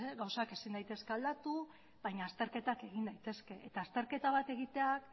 gauzak ezin daitezke aldatu baina azterketak egin daitezke eta azterketa bat egitea